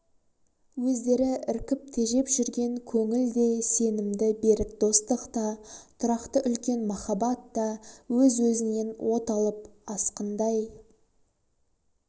өздері іркіп тежеп жүрген көңіл де сенімді берік достық та тұрақты үлкен махаббат та өз-өзінен от алып асқындай